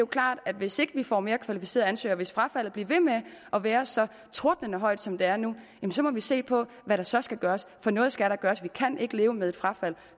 klart at hvis ikke vi får mere kvalificerede ansøgere og hvis frafaldet bliver ved med at være så tordnende højt som det er nu må vi se på hvad der så skal gøres for noget skal der gøres vi kan ikke leve med et frafald